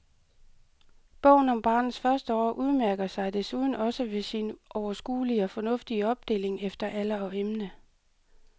Bogen om barnets første år udmærker sig desuden også ved sin overskuelige og fornuftige opdeling efter alder og emne.